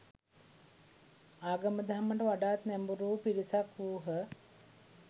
ආගම දහමට වඩාත් නැඹුරුවූ පිරිසක් වූහ